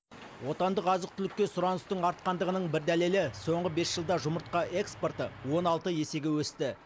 отандық азық түлікке сұраныстың артқандығының бір дәлелі соңғы бес жылда жұмыртқа экспорты он алты есеге өсті